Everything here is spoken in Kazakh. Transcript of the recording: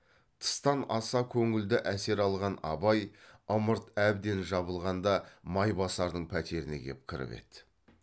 тыстан аса көңілді әсер алған абай ымырт әбден жабылғанда майбасардың пәтеріне кеп кіріп еді